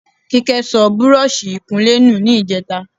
Kíkẹ́ sọ búrọ́ọ̀ṣì ìkunlé nù ní ìjẹta.